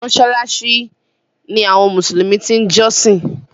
Mọ́ṣáláṣí ní àwọn mùsùlùmí ti ń jọ́sìn.